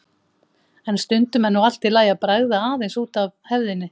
En stundum er nú allt í lagi að bregða aðeins út af hefðinni.